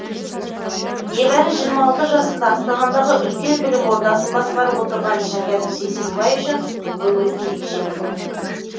небәрі жасында астанадағы үлкен білім ордасын басқарып отырған шәкәрім сейсенбай үшін бүгін ерекше күн